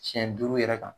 Siɲɛ duuru yɛrɛ kan